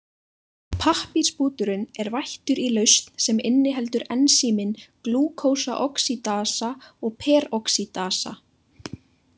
Pappírsbúturinn er vættur í lausn sem inniheldur ensímin glúkósaoxídasa og peroxídasa.